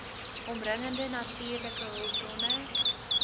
omringende natuurlike hulpbronne